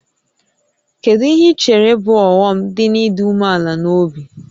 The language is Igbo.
Kedu ihe i chere bụ ọghọm dị n'ịdị umeala n'obi?